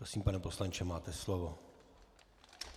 Prosím, pane poslanče, máte slovo.